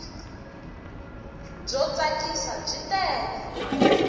byo tsakisa byi tele